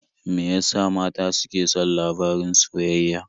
Me ya sa mata suke son labarin soyayya?